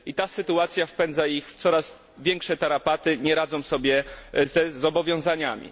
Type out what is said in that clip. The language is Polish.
Ta sytuacja wpędza ich w coraz większe tarapaty, nie radzą sobie z zobowiązaniami.